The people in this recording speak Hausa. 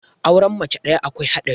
aure mace ɗaya akwai haɗari